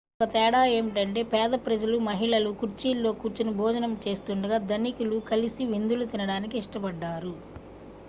మరొక తేడా ఏమిటంటే పేద ప్రజలు మహిళలు కుర్చీల్లో కూర్చొని భోజనం చేస్తుండగా ధనికులు కలిసి విందులు తినడానికి ఇష్టపడ్డారు